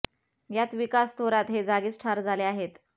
यात विकास थोरात हे जागीच ठार झाले आहेत